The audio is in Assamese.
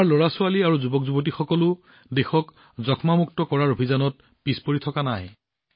আমাৰ লৰাছোৱালী আৰু যুৱকযুৱতীসকলেও যক্ষ্মা মুক্ত কৰাৰ অভিযানত পিছ পৰি থকা নাই